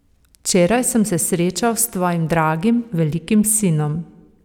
Včeraj sem se srečal s tvojim dragim velikim sinom.